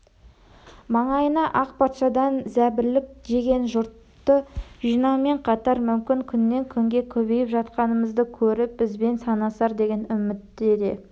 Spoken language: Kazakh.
маңайына ақ патшадан зәбірлік жеген жұртты жинаумен қатар мүмкін күннен-күнге көбейіп жатқанымызды көріп бізбен санасар деген үмітте де